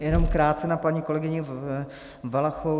Jenom krátce na paní kolegyni Valachovou.